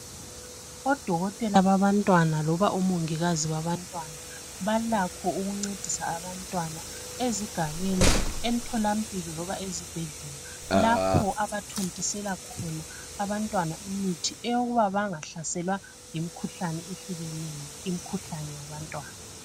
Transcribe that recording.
Odokotela babantwana loba omongikazi babantwana balakho ukuncedisa abantwana ezigabeni, emtholampilo loba ezibhedlela lapho abathontisela khona abantwana imithi okuba bangahlaselwa yimkhuhlane ehlukeneyo imkhuhlane yabantwana.